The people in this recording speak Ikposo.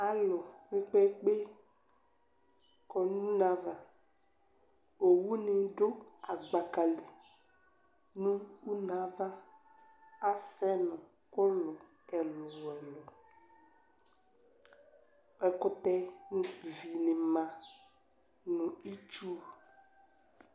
Alʋ kpe kpe kpe kɔnʋ une ava owʋni dʋ gbaka li nʋ une yɛ ava asɛnʋ ʋlɔ ɛlʋ ɛlʋ ɛkʋtɛ vini ma nʋ itsʋ